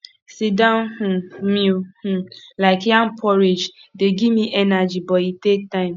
sitdown um meal um like yam porridge dey give me energy but e take time